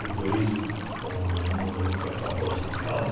Depois fomos no no fomos para Poços de Caldas.